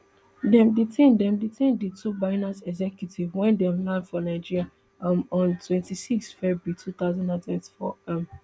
dem detain dem detain di two binance executives wen dem land for nigeria um on twenty-six february two thousand and twenty-four um